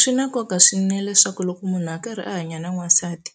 Swi na nkoka swinene leswaku loko munhu a karhi a hanya na n'wansati